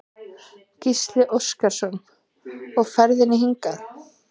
Gísli Óskarsson: Og ferðin hingað?